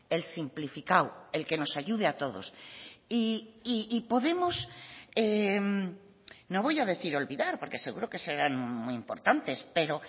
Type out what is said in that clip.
el simplificado el que nos ayude a todos y podemos no voy a decir olvidar porque seguro que serán muy importantes pero